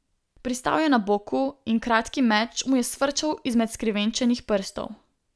Pristal je na boku in kratki meč mu je sfrčal izmed skrivenčenih prstov.